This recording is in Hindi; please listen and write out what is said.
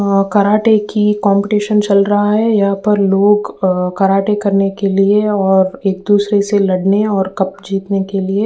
और कराटे की कम्पटीशन चल रहा है। यहाँ पर लोग अ कराटे करने के लिए और एक दुसरे से लड़ने और कप जितने के लिए --